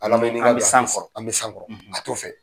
Al'an bɛ san kɔrƆ an bɛ san kƆrƆ a t'o fɛ